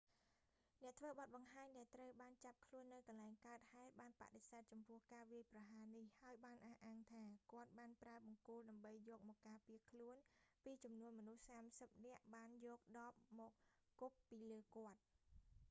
អ្នកធ្វើបទបង្ហាញដែលត្រូវបានចាប់ខ្លួននៅកន្លែងកើតហេតុ បានបដិសេធចំពោះការវាយប្រហារនេះ ហើយបានអះអាងថា គាត់បានប្រើបង្គោល ដើម្បីយកមកការពារខ្លួនពីចំនួនមនុស្សសាមសិបនាក់បានយកដបមកគប់ពីលើគាត់